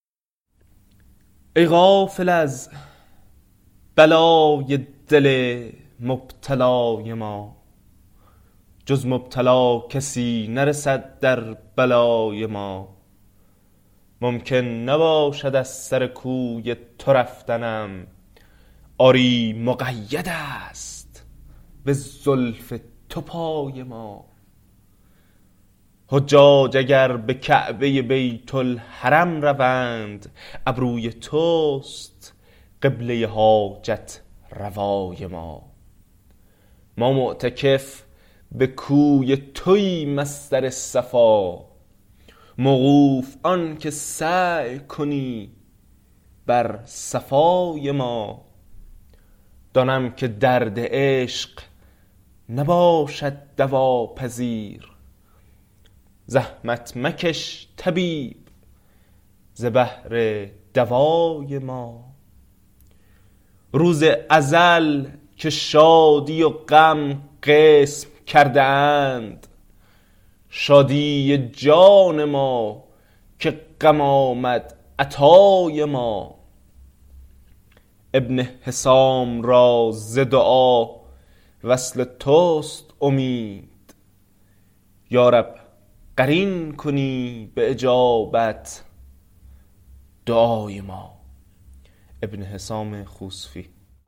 ای غافل از بلای دل مبتلای ما جز مبتلا کسی نرسد در بلای ما ممکن نباشد از سر کوی تو رفتنم آری مقیدست به زلف تو پای ما حجاج اگر به کعبه بیت الحرم روند ابروی توست قبله حاجت روای ما ما معتکف به کوی توایم از سر صفا موقوف آنکه سعی کنی بر صفای ما دانم که درد عشق نباشد دوا پذیر زحمت مکش طبیب ز بهر دوای ما روز ازل که شادی و غم قسم کرده اند شادی جان ما که غم آمد عطای ما ابن حسام را ز دعا وصل تست امید یا رب قرین کنی به اجابت دعای ما